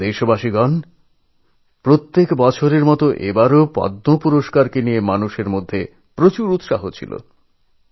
আমার প্রিয় দেশবাসী প্রত্যেক বছরের মতই এবারও পদ্ম পুরস্কার নিয়ে মানুষের মনে খুব কৌতুহল ছিল